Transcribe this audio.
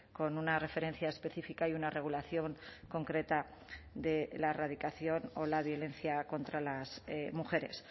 con una referencia específica y una regulación concreta de la erradicación o la violencia contra las mujeres